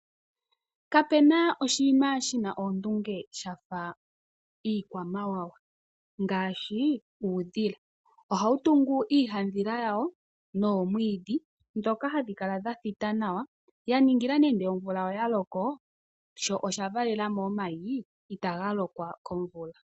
Kapena oshinima shi na oondunge shafa iikwamawawa ngaaahi uudhila. Ohawu tungu iihandhila yawo nomwiidhi mbyoka hayi kala ya thita nawa, ya ningila nande ngele omvula oya loko sho osha valela mo omayi, itaga lokwa komvula.